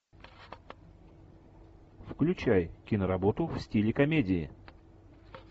включай киноработу в стиле комедии